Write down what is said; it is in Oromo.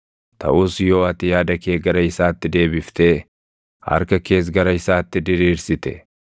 “Taʼus yoo ati yaada kee gara isaatti deebiftee harka kees gara isaatti diriirsite,